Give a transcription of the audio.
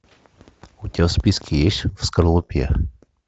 у тебя в списке есть в скорлупе